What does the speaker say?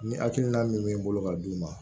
Ni hakilina min bɛ n bolo ka d'u ma